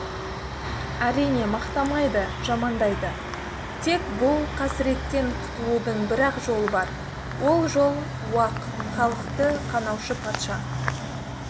әрине мақтамайды жамандайды тек бұл қасіреттен құтылудың бір-ақ жолы бар ол жол уақ халықты қанаушы патша